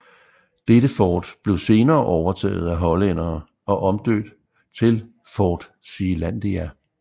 Dette fort blev senere overtaget af hollændere og omdøbt til Fort Zeelandia